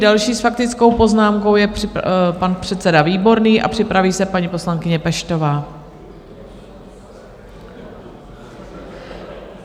Další s faktickou poznámkou je pan předseda Výborný a připraví se paní poslankyně Peštová.